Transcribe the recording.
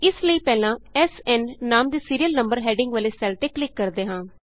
ਇਸ ਲਈ ਪਹਿਲਾਂ ਐਸਐਨ ਨਾਮ ਦੇ ਸੀਰੀਅਲ ਨੰਬਰ ਹੈਡਿੰਗ ਵਾਲੇ ਸੈੱਲ ਤੇ ਕਲਿਕ ਕਰਦੇ ਹਾਂ